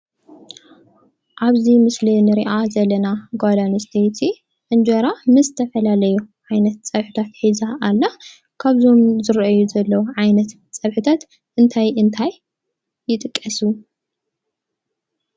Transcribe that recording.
ኣብዚ ምስሊ ንሪኣ ዘለና ጓል ኣንስተይቲ እንጀራ ምስ ዝተፈላላዩ ዓይነታት ፀብሕታት ሒዛ አላ። ካብዞም ዝረኣዩ ዘለው ዓይነት ፀብሕታት እንታይ እንታይ ይጥቀሱ ?